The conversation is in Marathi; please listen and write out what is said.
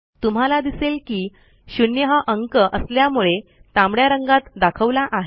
तुम्हाला दिसेल की शून्य हा अंक असल्यामुळे तांबड्या रंगात दाखवला आहे